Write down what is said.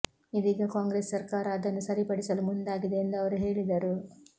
ಇದೀಗ ಕಾಂಗ್ರೆಸ್ ಸರ್ಕಾರ ಅದನ್ನು ಸರಿಪಡಿಸಲು ಮುಂದಾಗಿದೆ ಎಂದು ಅವರು ಹೇಳಿದರು